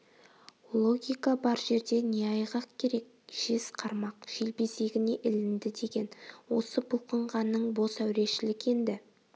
логика бар жерде не айғақ керек жез қармақ желбезегіне ілінді деген осы бұлқынғаның бос әурешілік енді